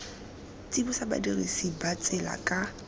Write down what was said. tsibosa badirisi ba tsela ka